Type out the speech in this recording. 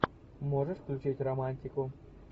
можешь включить романтику